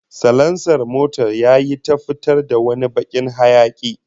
Salansar motar yayi ta fitar da wani bakin hayaki